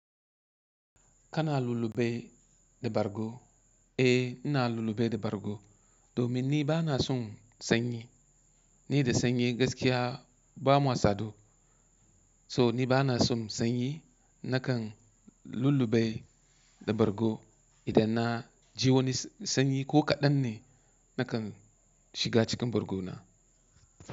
Kana lullube da bargo? Eh, ina lullube da bargo domin ni ba na son sanyi. Ni da sanyi gaskiya ba mu sadu. So ni ba na son sanyi, nakan lullube da bargo. Idan na ji wani sanyi ko kaɗan ne, nakan shiga cikin bargo na.